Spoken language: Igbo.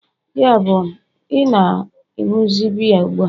yabụ, ị na-ịnuzi biya ugbu a?